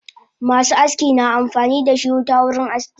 Masu aski na amfanidashi wuta wurin aski